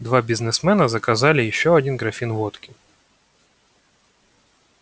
два бизнесмена заказали ещё один графин водки